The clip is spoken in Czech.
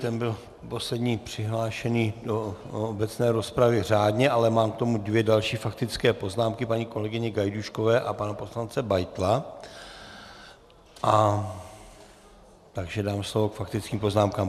Ten byl poslední přihlášený do obecné rozpravy řádně, ale mám k tomu dvě další faktické poznámky, paní kolegyně Gajdůškové a pana poslance Beitla, takže dám slovo k faktickým poznámkám.